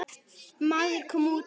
Maður kom út.